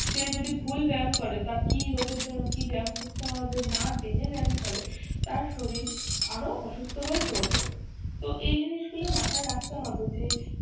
সে যদি ভুল ব্যায়াম করে তার কি রোগের জন্য কি ব্যায়াম করতে হবে না জেনে ব্যায়াম করে তার শরীর আরো অসুস্থ হয়ে পড়বে। তো এই জিনিসগুলো মাথায় রাখতে হবে যে